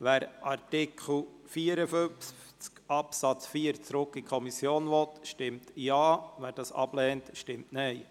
Wer Artikel 54 Absatz 4 an die Kommission zurückweisen will, stimmt Ja, wer dies ablehnt, stimmt Nein.